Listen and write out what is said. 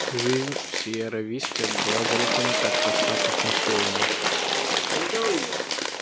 жизнь в сиерра висте была далеко не так проста как на севере